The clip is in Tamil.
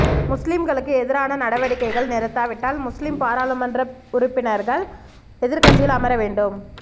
முஸ்லிம்களுக்கு எதிரான நடவடிக்கைகள் நிறுத்தாவிட்டால் முஸ்லிம் பாராளுமன்ற உறுப்பினர்கள் எதிர்க்கட்சியில் அமர வேண்டும்